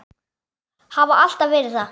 Hafa alltaf verið það.